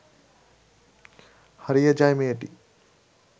হারিয়ে যায় মেয়েটি